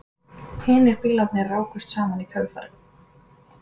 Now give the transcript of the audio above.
Hinir bílarnir rákust saman í kjölfarið